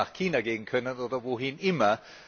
Er hätte auch nach China gehen können oder wohin immer.